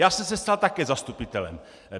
Já jsem se stal také zastupitelem.